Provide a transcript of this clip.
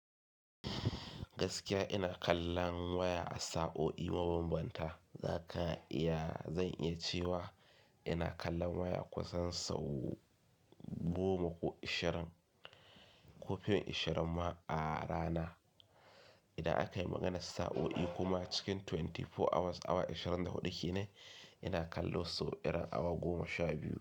Gaskiya ina kallon waya a sa'o'i mabambanta, zaka iya, zan iya cewa ina kallon waya kusan sau goma ko ashirin, ko fin ashirin ma a rana. Idan akayi maganar sa'o'i kuma cikin twenty four hours, awa ashirin da hudu kenan, ina kallo sau irin awa goma sha biyu.